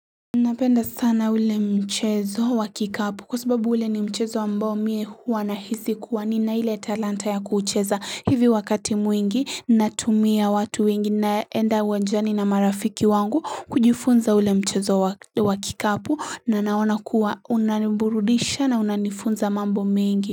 Napenda sana ule mchezo wa kikapu kwa sababu ule ni mchezo ambao mimi huwa na hisi kuwa nina ile talanta ya kuucheza hivi wakati mwingi natumia watu wengi naenda wanjani na marafiki wangu kujifunza ule mchezo wa kikapu na naona kuwa unaniburudisha na unanifunza mambo mengi.